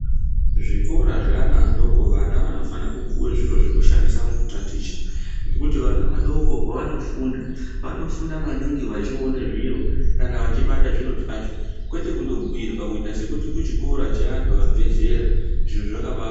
Zvikora zveana adoko vana vanofana kupuwe zviro zvekushandisa mukutaticha ngekuti vana vadoko pavanofunda, vanofunda maningi vachione zviro kana vachibata zviro zvacho. Kwete kundobhuyirwa kuita sekuti kuchikora cheantu abve zera, izvo zvakaba..